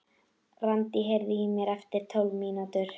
Randí, heyrðu í mér eftir tólf mínútur.